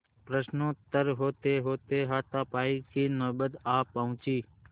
प्रश्नोत्तर होतेहोते हाथापाई की नौबत आ पहुँची